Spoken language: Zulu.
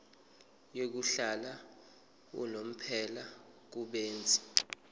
yokuhlala unomphela kubenzi